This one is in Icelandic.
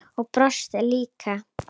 Og brosti líka.